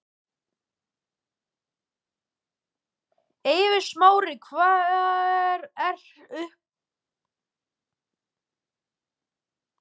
Eiður Smári Hver er uppáhaldsstaðurinn þinn í öllum heiminum?